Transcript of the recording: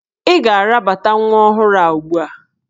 Ị ga-arabata nwa ọhụrụ a ugbu a!